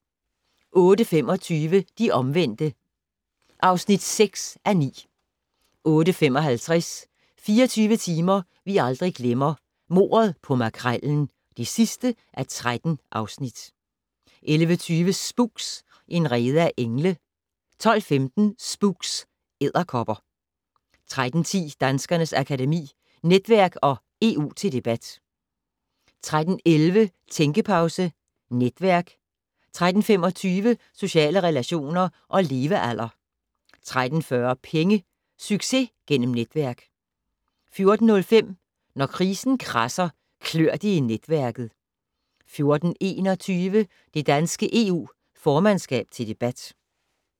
08:25: De omvendte (6:9) 08:55: 24 timer vi aldrig glemmer - Mordet på Makrellen (13:13) 11:20: Spooks: En rede af engle 12:15: Spooks: Edderkopper 13:10: Danskernes Akademi: Netværk & EU til debat 13:11: Tænkepause - Netværk 13:25: Sociale relationer og levealder 13:40: Penge - Succes gennem netværk 14:05: Når krisen kradser, klør det i netværket 14:21: Det danske EU formandskab til debat